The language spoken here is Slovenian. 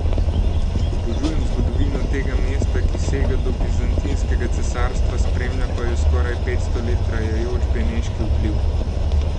Obožujem zgodovino tega mesta, ki sega do Bizantinskega cesarstva, spremlja pa jo skoraj petsto let trajajoč beneški vpliv.